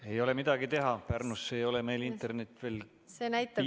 Ei ole midagi teha, Pärnusse ei ole meil internet veel piisaval tasemel jõudnud.